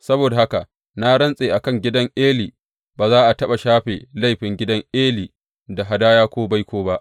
Saboda haka na rantse a kan gidan Eli, Ba za a taɓa shafe laifin gidan Eli da hadaya ko baiko ba.’